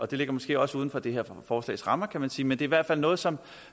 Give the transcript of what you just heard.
det ligger måske også uden for det her forslags rammer kan man sige men det hvert fald noget som